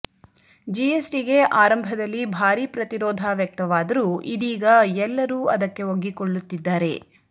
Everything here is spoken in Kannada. ಜಿಎಸ್ಟಿಗೆ ಆರಂಭದಲ್ಲಿ ಭಾರೀ ಪ್ರತಿರೋಧ ವ್ಯಕ್ತವಾದರೂ ಇದೀಗ ಎಲ್ಲರೂ ಅದಕ್ಕೆ ಒಗ್ಗಿಕೊಳ್ಳುತ್ತಿದ್ದಾರೆ